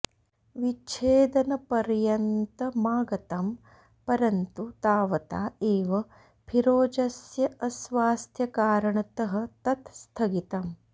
विच्छेदनपर्यन्तमागतम् परन्तु तावता एव फिरोजस्य अस्वास्थ्यकारणतः तत् स्थगितम्